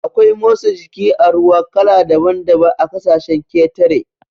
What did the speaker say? Akwai motsa jiki a ruwa kala daban daban a ƙasashen ƙetare